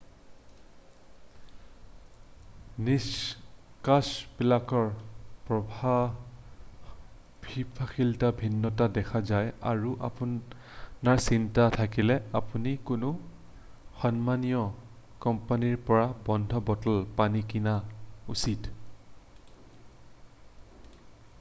নিষ্কাষকবিলাকৰ প্ৰভাৱশীলতাৰ ভিন্নতা দেখা যায় আৰু আপোনাৰ চিন্তা থাকিলে আপুনি কোনো সন্মানীয় কোম্পানীৰ পৰা বন্ধ বটলত পানী কিনা উচিত